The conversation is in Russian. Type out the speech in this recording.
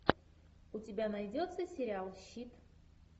у тебя найдется сериал щит